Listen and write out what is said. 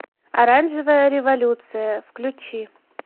оранжевая революция включи